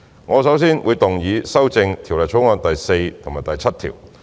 我首先會動議修正《條例草案》第4及7條。